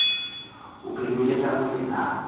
uphendule kakuhle na